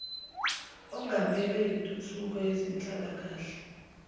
ongamele intuthuko yezenhlalakahle